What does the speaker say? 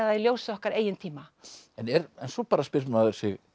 í ljósi okkar eigin tíma en svo bara spyr maður sig